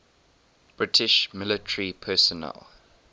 british military personnel